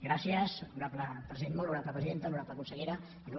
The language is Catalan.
gràcies molt honorable presidenta honorable consellera il